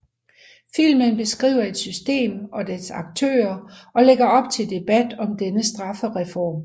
Filmen beskriver et system og dets aktører og lægger op til debat om denne straffeform